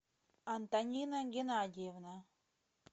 антонина геннадьевна